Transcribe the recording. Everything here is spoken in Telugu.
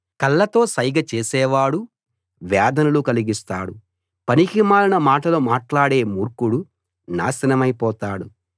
కళ్ళతో సైగ చేసేవాడు వేదనలు కలిగిస్తాడు పనికిమాలిన మాటలు మాట్లాడే మూర్ఖుడు నాశనమైపోతాడు